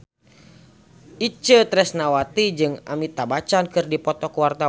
Itje Tresnawati jeung Amitabh Bachchan keur dipoto ku wartawan